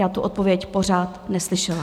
Já tu odpověď pořád neslyšela.